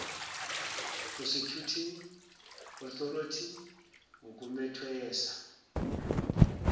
prosecuting authority ngokumethwesa